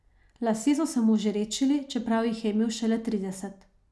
Lasje so se mu že redčili, čeprav jih je imel šele trideset.